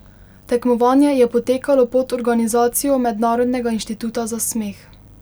Tekmovanje je potekalo pod organizacijo Mednarodnega inštituta za smeh.